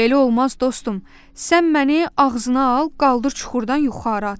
"Belə olmaz, dostum, sən məni ağzına al, qaldır çuxurdan yuxarı at."